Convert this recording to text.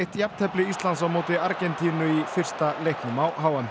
eitt jafntefli Íslands á móti Argentínu í fyrsta leiknum á h m